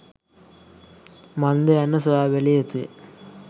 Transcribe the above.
මන්ද යන්න සොයා බැලිය යුතුය